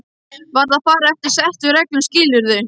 Verð að fara eftir settum reglum skilurðu.